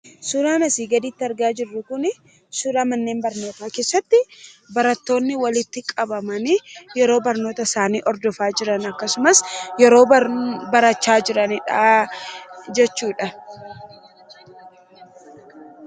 Suuraan asii gaditti argaa jirru kun, suuraa manneen barnoota keessatti barattoonni walitti qabamani yeroo barnoota isaanii hordofa jiran akkasumas, yeroo barachaa jiranidha jechuudha.